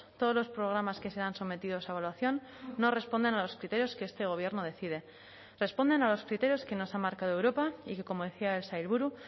todos los programas que sean sometidos a evaluación no responden a los criterios que este gobierno decide responden a los criterios que nos ha marcado europa y que como decía el sailburu